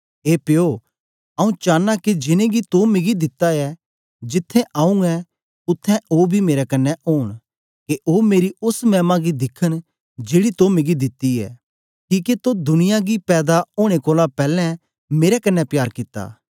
ए प्यो आऊँ चांना के जिनेंगी तो मिगी दिता ऐ जिथें आऊँ ऐं उत्थें ओ बी मेरे कन्ने ओंन के ओ मेरी ओस मैमा गी दिखन जेड़ी तो मिगी दिती ऐ किके तो दुनिया गी पैदा ओनें कोलां पैलैं मेरे कन्ने प्यार कित्ता